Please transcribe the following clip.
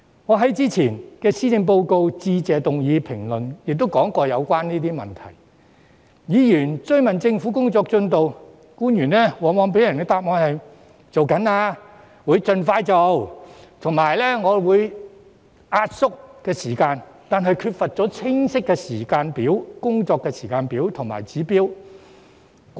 我在先前的施政報告致謝議案辯論時曾提及有關的問題，每當議員追問政府的工作進度，官員往往在答覆時表示正在進行、會盡快做及會壓縮時間，但缺乏清晰的工作時間表和指標。